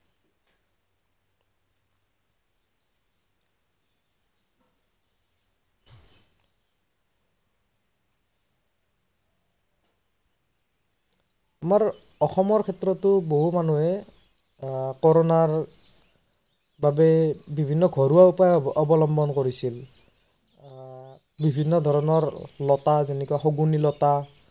আমাৰ অসমৰ ক্ষেত্ৰতো বহু মানুহে আহ কৰোনাৰ বাবে বিৱিন্ন ধৰনৰ ঘৰুৱা উপায় অৱল্বন কৰিছিল। আহ বিৱিন্ন ধৰনৰ লতা যেনে শগুনী লত